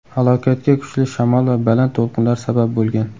Halokatga kuchli shamol va baland to‘lqinlar sabab bo‘lgan.